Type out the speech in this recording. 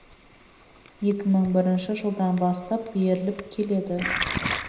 екі мың бірінші жылдан бастап беріліп келеді